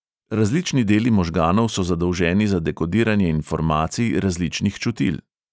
Različni deli možganov so zadolženi za dekodiranje informacij različnih čutil.